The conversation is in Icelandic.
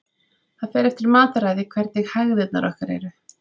Það fer eftir mataræði hvernig hægðirnar okkar eru.